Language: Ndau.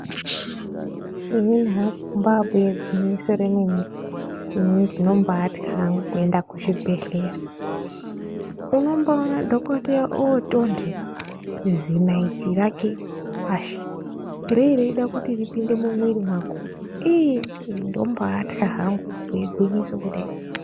Inini hangu kuba buya gwinyiso remene mene inindombatya hangu kuenda kuzvibhedhlera unombiona dhokodheya otonhe zinaiti rake pashi rereyida kuti ripinde mumuviri mwako ii ini ndombaitya hangu kubhuye gwinyiso kudai.